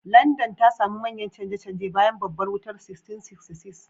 Landan ta sami manyan canje-canje bayan Babbar Wutar 1666.